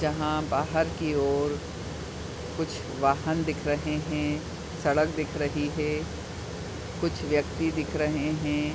जहाँ बाहर की ओर कुछ वाहन दिख रहे हैं। सड़क दिख रही है कुछ व्यक्ति दिख रहे हैं।